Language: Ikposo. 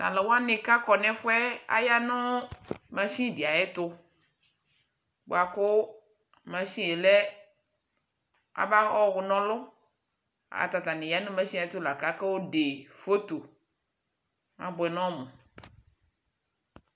Taluwani kakɔ nɛfuɛ aya nu mashin de ayɛtubuaku mashine lɛ kamakɔna ɔluu ayɛlutɛatan ya nu mashine ayɛtulakayɔde photo abuɛ kɔlu